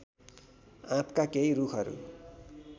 आँपका केही रूखहरू